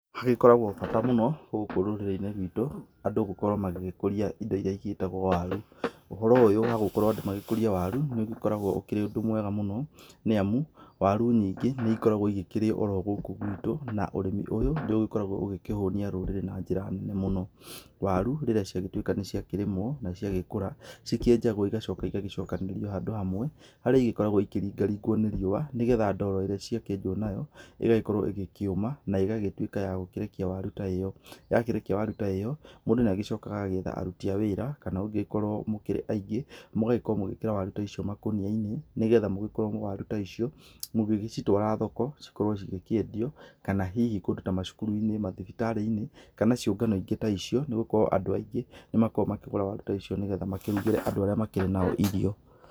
Nĩ gũkoragwo bata mũno gũkũ rũrĩri-inĩ rwitũ, andũ gũkorwo magĩkũria indo ĩria ciĩtagwo waru, ũhoro ũyũ wa andũ gũkorwo magĩkũria waru, nĩũgĩkoragwo ũkĩrĩ ũndũ mwega mũno, nĩamu waru nyingĩ nĩikoragwo igĩkĩrĩo gũkũ gwitũ, na ũrĩmi ũyũ nĩũgĩkoragwo ũgĩkĩhũnia rũrĩrĩ na njĩra nene mũno. Waru rĩrĩa ciagĩtuĩka nĩciakĩrĩmwo na ciagĩkũra, cikĩenjagwo igacoka cigacokanĩrĩrio handũ hamwe, harĩa ĩgĩkoragwo ikĩringaringwo nĩ riũa, nĩgetha ndoro ĩrĩa cia kĩenjwo nayo, ĩgakorwo ĩkĩũma na ĩgagĩtuĩka ya gũkĩrekia waru ta ĩyo. Yakirekia waru ta ĩyo, mũndũ nĩagĩcokaga agetha aruti a wĩra, kana mangĩgĩkorwo mũkĩrĩ aingĩ, mũgakorwo mũgĩkĩra waru ta icio makũnia-inĩ , nĩgetha mũgĩkorwo waru ta icio mũgĩcitwara thoko , cikorwo cikiendio. Kana hihi kũndũ ta macukuru-inĩ, mathibitarĩ-inĩ, kana ciũngano ingĩ ta icio, nĩgũkorwo andũ aingĩ nĩ makoragwo makĩgũra waru ta icio, nĩgetha makorwo makĩrugĩra andũ arĩa makĩrĩ nao.